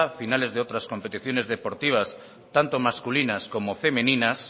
finales de otras competiciones deportivas tanto masculinas como femeninas